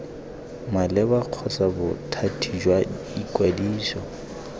maleba kgotsa bothati jwa ikwadiso